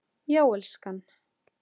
Já, elskan?